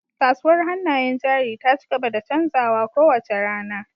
Kasuwar hannayen jari ta ci gaba da canzawa kowace rana